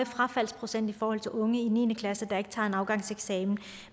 frafaldsprocent i forhold til unge i niende klasse der ikke tager en afgangseksamen